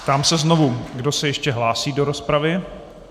Ptám se znovu, kdo se ještě hlásí do rozpravy.